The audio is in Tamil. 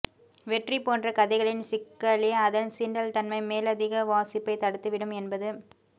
வெற்றி போன்ற கதைகளின் சிக்கலே அதன் சீண்டல்தன்மை மேலதிக வாசிப்பை தடுத்துவிடும் என்பது